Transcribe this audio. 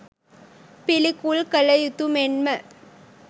පිළිකුල් කළ යුතු මෙන්ම